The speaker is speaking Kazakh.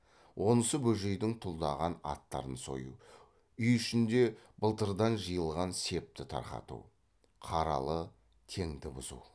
онысы бөжейдің тұлдаған аттарын сою үй ішінде былтырдан жиылған септі тарқату қаралы теңді бұзу